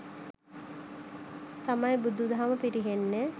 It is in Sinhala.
තමයි බුදු දහම පිරිහෙන්නෙ.